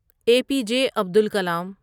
اے P J Abdul کلام